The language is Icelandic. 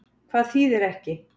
Hvað þýðir ekki?